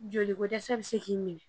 Joli ko dɛsɛ bɛ se k'i minɛ